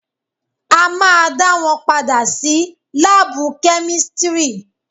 A ma dá wọn padà sí lábù kẹ́místrì.